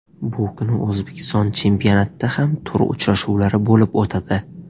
Bu kuni O‘zbekiston chempionatida ham tur uchrashuvlari bo‘lib o‘tadi.